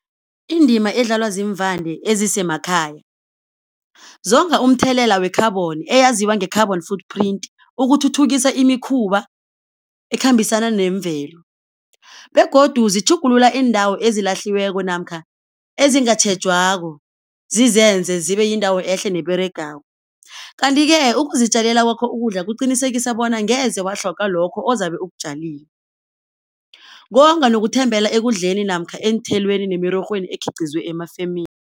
Indima edlalwa ziimvande ezisemakhaya, zonga umthelela we-carbon eyaziwa nge-carbon footprint ukuthuthukisa imikhuba ekhambisana nemvelo, begodu zitjhugulula iindawo ezilahliweko namkha ezingatjhejwako zizenze zibe yindawo ehle neberegako. Kanti-ke ukuzitjalela kwakho ukudla kuqinisekisa bona ngeze watlhoga lokho ozabe ukutjalile, konga nokuthembela ekudleni namkha eenthelweni nemirorhweni ekhiqizwe emafemini.